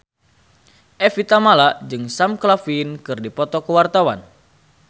Evie Tamala jeung Sam Claflin keur dipoto ku wartawan